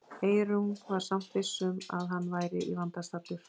Eyrún var samt viss um að hann væri í vanda staddur.